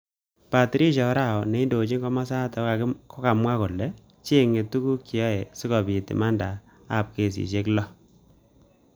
Patricia Orao neindojin kimosatak kokimwa kole chengei tukuk cheyaei sikobit imanda abkesishek lo.